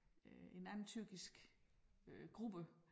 Øh en anden tyrkisk øh gruppe